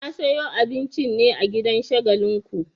Na sayo abincin ne a gidan Shagalinku.